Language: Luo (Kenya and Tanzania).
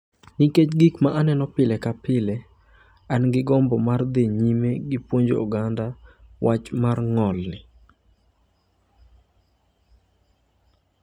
ikech gik ma aneno pile ka pile, an gi gombo mar dhi nyime gi puonjo oganda wach mar ng’olni.